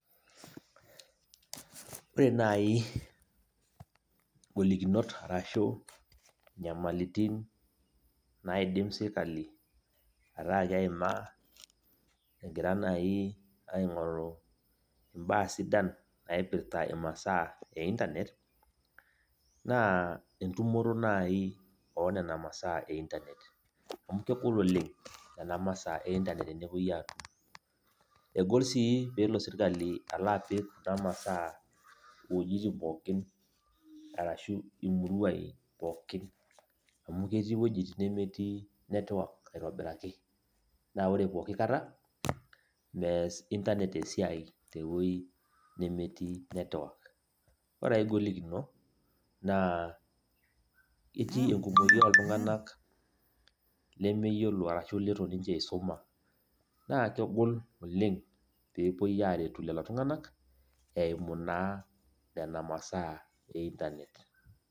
Ore nai igolikinot arashu nyamalitin naidim sirkali ataa keimaa, egira nai aing'oru imbaa sidan naipirta imasaa e Internet, naa entumoto nai onena masaa e Internet. Amu kegol oleng nena masaa e Internet tenepoi atum. Egol si pelo sirkali alo apik kuna masaa wojiting pookin, arashu imuruai pookin. Amu ketii wuejiting nemetii netwak aitobiraki, na ore pooki kata, mees Internet esiai tewoi nemetii netwak. Ore ai golikino, naa etii enkumoyu oltung'anak lemeyiolo arashu litu ninche isuma. Naa kegol oleng pepoi aretu lelo tung'anak, eimu naa nena masaa e Internet.